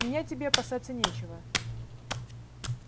меня тебе опасаться нечего